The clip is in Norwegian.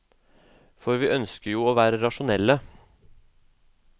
For vi ønsker jo å være rasjonelle.